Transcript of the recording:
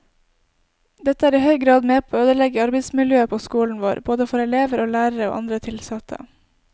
Dette er i høy grad med på å ødelegge arbeidsmiljøet på skolen vår, både for elever og lærere og andre tilsatte.